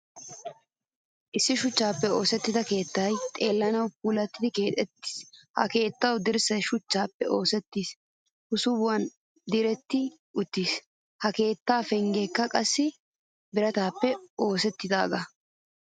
Issi shuchchappe oosettidaa keettay xeellanawu puulattidi keexettiis. Ha keettawu dirssay shuchchappe oosettidi hsubuwan diretti uttiis. Ha keettawu penggekka qassi biratappe oosettidaga.